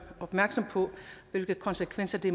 opmærksom på hvilke konsekvenser det